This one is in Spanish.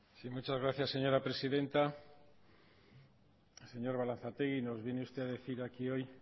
muchas gracias señora presidenta señor balantzategi nos viene usted a decir aquí hoy